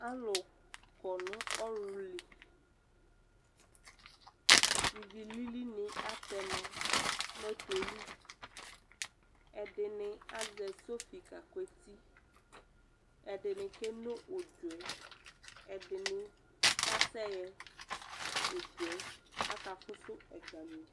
Alʋ kɔ nʋ ɔɣlʋ li, ivi lilinɩ atɛ ma nʋ ɔtɔ yɛ li, ɛdɩnɩ azɛ sɔfɩ kakʋ eti, ɛdɩnɩ keno ʋdzɔ yɛ, ɛdɩnɩ kasɛɣɛ ʋdzɔ yɛ, akafʋsʋ ɛgami